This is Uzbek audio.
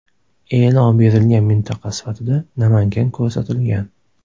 E’lon berilgan mintaqa sifatida Namangan ko‘rsatilgan.